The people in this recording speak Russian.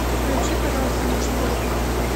включи пожалуйста мужской